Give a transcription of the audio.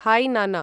है नान्न